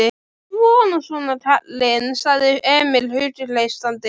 Svona, svona, kallinn, sagði Emil hughreystandi.